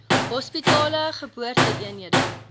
hospitale geboorte eenhede